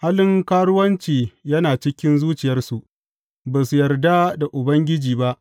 Halin karuwanci yana cikin zuciyarsu; ba su yarda da Ubangiji ba.